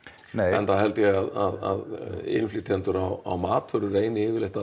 enda held ég að innflytjendur á matvælum reyni yfirleitt að